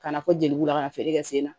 Kana fɔ jeliw la ka na feere kɛ sen na